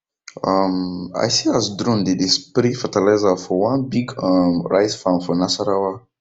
um i see as drone dey dey spray fertilizer for one big um rice farm for nasarawa